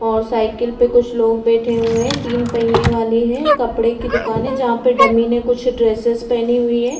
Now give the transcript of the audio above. और साइकिल पे कुछ लोग बैठे हुए हैं। तीन पहिए वाली है। कपड़े की दुकान है। जहाँ पे डमी ने कुछ ड्रेसेस पहने हुई है।